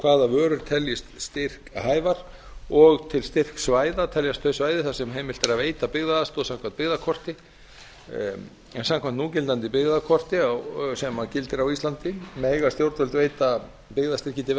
hvaða vörur teljist styrkhæfar og til styrksvæða teljast þau svæði þar sem heimilt er að veita byggðaaðstoð samkvæmt byggðakorti en samkvæmt núgildandi byggðakorti sem gildir á íslandi mega stjórnvöld veita byggðastyrki til